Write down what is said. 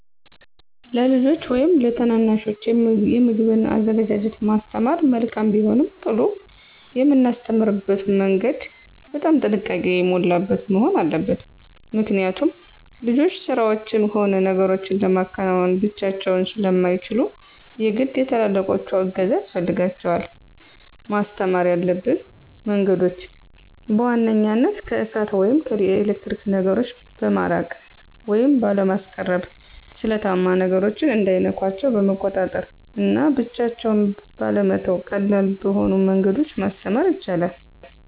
ለልጆች ወይም ለታናናሾች የምግብን አዘገጃጀት ማስተማር መልካም ቢሆንም ቅሉ የምናስተምርበትም መንገድ በጣም ጥንቃቄ የሞላበት መሆን አለበት። ምክኒያት ልጆች ስራዎችን ሆነ ነገሮችን ለማከናወን ብቻቸውን ስለማይችሉ የግድ የትላላቆቹ እገዛ ያስፈልጋል። ማስተማር ያሉብን መንገዶችም፦ በዋንኛነት ከእሳት ወይም ከኤሌክትሪክ ነገሮ በማራቅ ወይም ባለማስቀረብ፣ ስለታማ ነገሮች እንዳይነኳቸው በመቆጣጠር እና ብቻቸውን ባለመተው ቀላል በሆኑ መንገዶች ማስተማር ይቻላል።